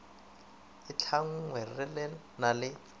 e tlhanngwe re na le